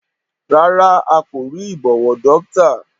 Rárá a kò rí ìbọwọ́dọ́ktà